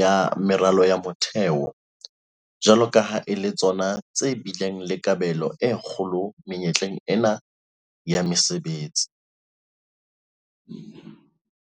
ya meralo ya motheo - jwalo ka ha e le tsona tse bileng le kabelo e kgolo menyetleng ena ya mesebetsi.